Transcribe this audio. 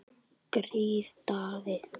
Grið Daði!